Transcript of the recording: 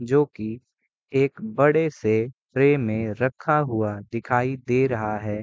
जो की एक बड़े से ट्रे में रखा हुआ दिखाई दे रहा है।